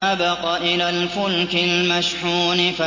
إِذْ أَبَقَ إِلَى الْفُلْكِ الْمَشْحُونِ